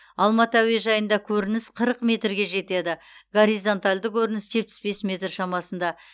алматы әуежайында көрініс қырық метрге жетеді горизонталды көрніс жетпіс бес метр шамасында